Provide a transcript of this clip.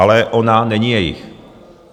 Ale ona není jejich.